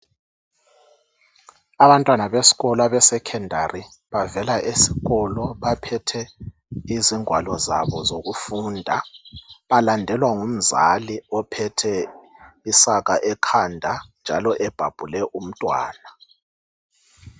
Abantwana besikolo besecondary bavela esikolo baphethe ingwalo zabo zokufunda balandelwa ngumzali ophethe isaka ekhanda njalo ebhabhule umntwana